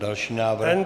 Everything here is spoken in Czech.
Další návrh.